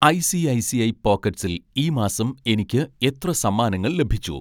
ഐ.സി.ഐ.സി.ഐ പോക്കറ്റ്‌സിൽ ഈ മാസം എനിക്ക് എത്ര സമ്മാനങ്ങൾ ലഭിച്ചു